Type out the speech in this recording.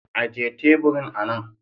Ajiye teburin anan.